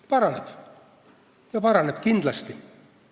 Paraneb ja paraneb kindlasti.